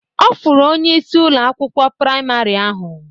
Ọ fụrụ onyeisi Ụlọ akwụkwọ praịmarị ahụ.